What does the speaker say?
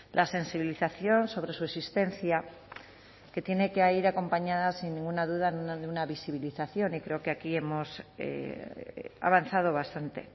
la sensibilización sobre su existencia que tiene que ir acompañada sin ninguna duda de una visibilización y creo que aquí hemos avanzado bastante